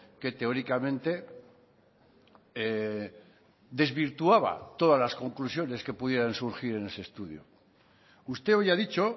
que teóricamente desvirtuaba todas las conclusiones que pudieran surgir en ese estudio usted hoy ha dicho